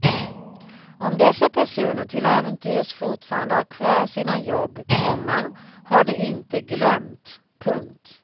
Om dessa personer till äventyrs fortfarande har kvar sina jobb, komma har de inte glömt. punkt